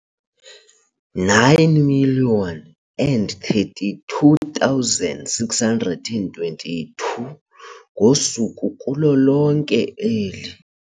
9 032 622 ngosuku kulo lonke eli.